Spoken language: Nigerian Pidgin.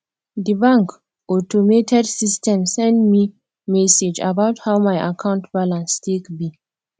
di bank automated system send me message about how my account balance take be